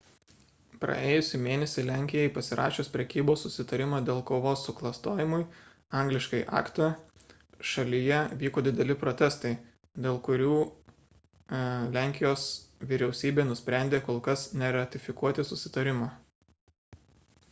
praėjusį mėnesį lenkijai pasirašius prekybos susitarimą dėl kovos su klastojimu angl. acta šalyje vyko dideli protestai dėl kurių lenkijos vyriausybė nusprendė kol kas neratifikuoti susitarimo